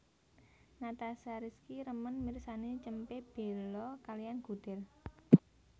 Natasha Rizky remen mirsani cempe belo kaliyan gudel